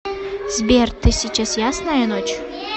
сбер ты сейчас ясная ночь